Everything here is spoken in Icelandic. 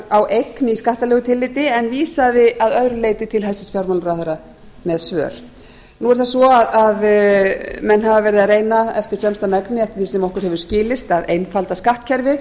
á eign í skattalegu tilliti en vísaði að öðru leyti til hæstvirts fjármálaráðherra með svör nú er það svo að menn hafa verið að reyna eftir fremsta megni eftir því sem okkur hefur skilist að einfalda skattkerfið